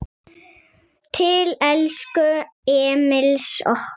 Til elsku Emils okkar.